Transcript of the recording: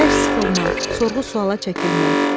Bərk sıxılmaq, sorğu-sualla çəkilmək.